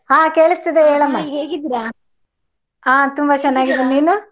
ಹ ಕೇಳಿಸತಿದೇ ಹೇಳಮ್ಮ ಹ ತುಂಬಾ ಚೆನ್ನಾಗಿದ್ದೆ ನೀನು?